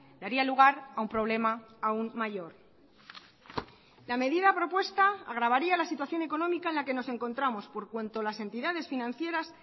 daría lugar a un problema aún mayor la medida propuesta agravaría la situación económica en la que nos encontramos por cuanto las entidades financieras